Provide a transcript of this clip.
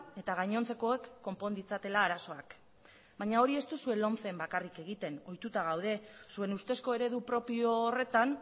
eta gainontzekoek konpon ditzatela arazoak baina hori ez duzue lomcen bakarrik egiten ohituta gaude zuen ustezko eredu propio horretan